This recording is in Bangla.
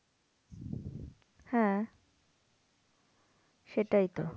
হ্যাঁ সেটাই তো